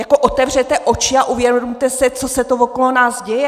Jako otevřete oči a uvědomte si, co se to okolo nás děje!